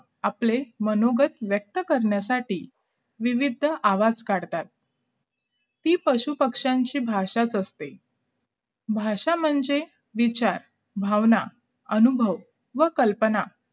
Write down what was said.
आपले मनोगत व्यक्त करण्यासाठी विविध आवाज काढतात ती पशुपक्ष्यांची भाषाच असते भाषा म्हणजे विचार भावना अनुभव वहा कल्पना